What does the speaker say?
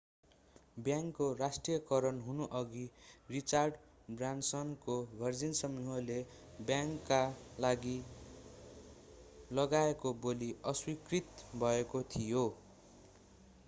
बैंकको राष्ट्रियकरण हुनुअघि रिचार्ड ब्रानसनको भर्जिन समूहले बैंकका लागि लगाएको बोली अस्वीकृत भएको थियो